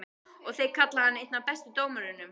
Og þeir kalla hann einn af bestu dómurunum?